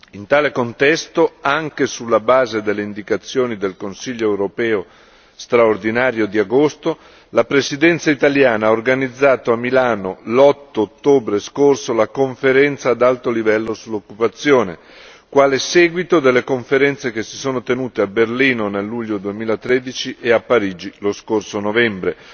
In tale contesto, anche sulla base delle indicazioni del Consiglio europeo straordinario di agosto, la presidenza italiana ha organizzato a Milano, l'8 ottobre scorso, la Conferenza ad alto livello sull'occupazione, quale seguito delle conferenze che si sono tenute a Berlino, nel luglio 2013 e a Parigi, lo scorso novembre,